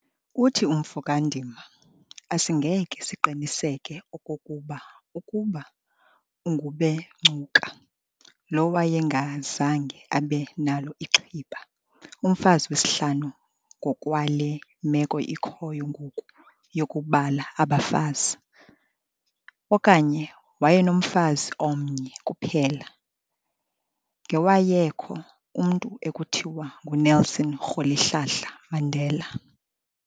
Uthi umfo kaNdima, 'Asingeke siqiniseke okokuba ukuba uNgubengcuka lo wayengazange abe nalo iXhiba, umfazi wesihlanu ngokwale meko ikhoyo ngoku yokubala abafazi, okanye wayenomfazi omnye kuphela, ngewayekho umntu ekuthiwa nguNelson Rholihlahla Mandela.